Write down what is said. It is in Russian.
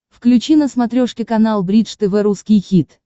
включи на смотрешке канал бридж тв русский хит